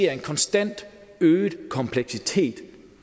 er en konstant øget kompleksitet